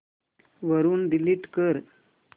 वरून डिलीट कर